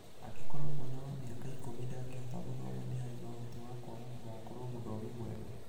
angĩkorwo mwana wa mĩaka ikũmi ndangĩhota gũthoma nĩ hari na ũhoti wa kwaga gũgakorwo mũthomi mwega.